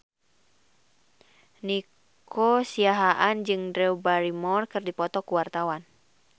Nico Siahaan jeung Drew Barrymore keur dipoto ku wartawan